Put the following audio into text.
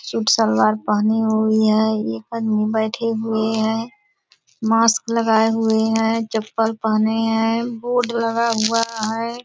Suit salwar पहनी हुई है एकांत में बैठी हुई है मास्क लगाई हुई है चप्पल पहनी है बोर्ड लगा हुआ है ।